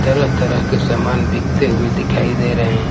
तरह तरह के सामान बिकते हुए दिखाई दे रहे हैं।